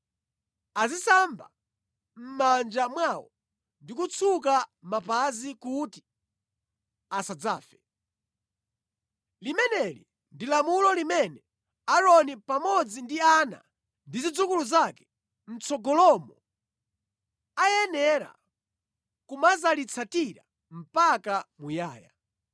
azisamba mʼmanja mwawo ndi kutsuka mapazi kuti asadzafe. Limeneli ndi lamulo limene Aaroni, pamodzi ndi ana ndi zidzukulu zake mʼtsogolomo ayenera kumadzalitsatira mpaka muyaya.”